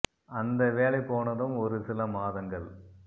அந்த வேலை போனதும் ஒரு சில மாதங்கள்